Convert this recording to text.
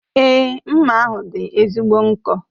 Èé, mma ahụ dị ezigbo nkọ.